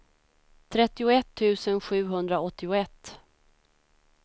trettioett tusen sjuhundraåttioett